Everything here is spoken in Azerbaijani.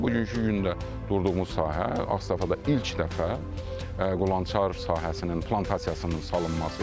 Bugünkü gündə durduğumuz sahə Ağstafada ilk dəfə qulançar sahəsinin plantasiyasının salınmasıdır.